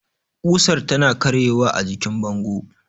kusar tana karye wa ajikin bango